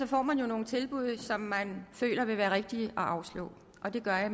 får man jo nogle tilbud som man føler det vil være rigtigt at afslå og det gør jeg